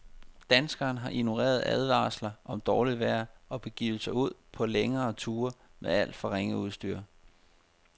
Danskerne har ignoreret advarsler om dårligt vejr og begivet sig ud på længere ture med alt for ringe udstyr.